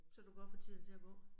Så du godt få tiden til at gå